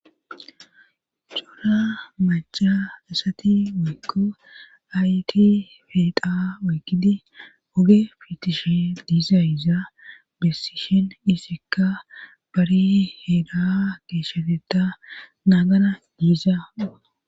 Cora macha asati weykko ayti feeqa oygidi oge fitishe diiza yiza bessishin isikka bari heeda keeshshateta naagana diiza.